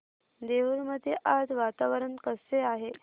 देऊर मध्ये आज वातावरण कसे आहे